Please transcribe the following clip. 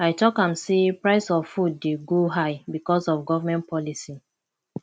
i talk am sey price of food dey go high because of government policy